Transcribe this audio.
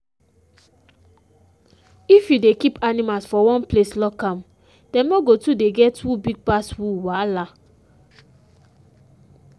if you dey keep animals for one place lock am them no go too dey get who big pass who wahala.